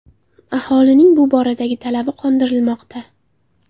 Aholining bu boradagi talabi qondirilmoqda.